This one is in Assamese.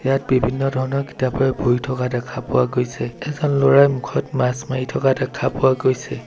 ইয়াত বিভিন্ন ধৰণৰ কিতাপে ভৰি থকা দেখা পোৱা গৈছে এজন ল'ৰাই মুখত মাস্ক মাৰি থকা দেখা পোৱা গৈছে।